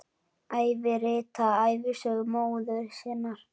Eva ritaði ævisögu móður sinnar.